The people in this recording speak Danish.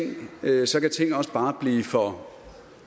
også bare blive for